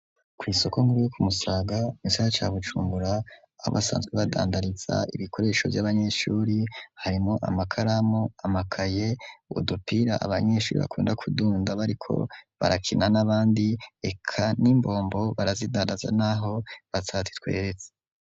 ku isoko nkuru yo Kumusaga mu gisagara ca Bujumbura abasanzwe badandariza ibikoresho vy'abanyeshuri harimwo amakaramu amakaye ubudupira abanyeshuri bakunda kudunda bariko barakina n'abandi eka n'imbombo barazidandaza naho batazi tweretse.